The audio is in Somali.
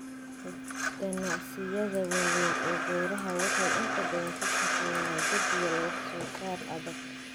Ganacsiyada waaweyn ee beeraha waxay inta badan ku shaqeeyaan jadwal wax soo saar adag.